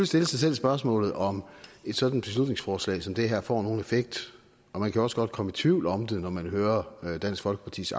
stille sig selv spørgsmålet om et sådant beslutningsforslag som det her får nogen effekt og man kan også godt komme i tvivl om det når man hører dansk folkepartis